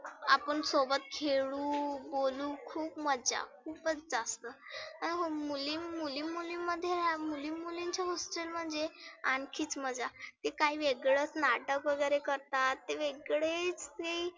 आपण सोबत खेळु, बोलु खुप मज्जा खुपच जास्त. आनं मुली मुली मुली मध्ये मुली मुलीच्या hostel मध्ये आणखीच मजा. ते काही वेगळच नाटक वगैरे करतात ते वेगळेच ते.